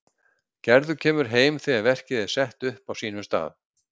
Gerður kemur heim þegar verkið er sett upp á sínum stað.